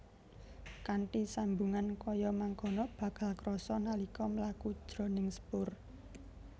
Kanthi sambungan kaya mangkono bakal krasa nalika mlaku jroning sepur